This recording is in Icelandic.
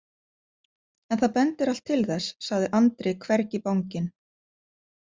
En það bendir allt til þess, sagði Andri hvergi banginn.